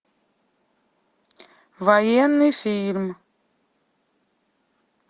военный фильм